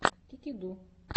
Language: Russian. кикиду